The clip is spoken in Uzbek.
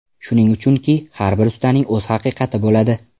Shuning uchunki, har bir ustaning o‘z haqiqati bo‘ladi.